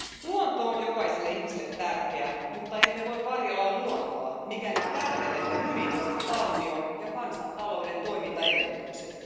Luonto on jokaiselle ihmiselle tärkeä, mutta emme voi varjella luontoa, mikäli tärvelemme hyvinvointivaltion ja kansantalouden toimintaedellytykset.